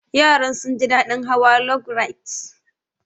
Yaran sun ji daɗin hawa log rides.